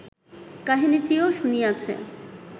কাহিনীটিও শুনিয়াছে